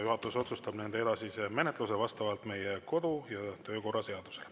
Juhatus otsustab nende edasise menetlemise vastavalt meie kodu- ja töökorra seadusele.